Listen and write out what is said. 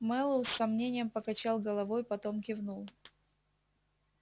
мэллоу с сомнением покачал головой потом кивнул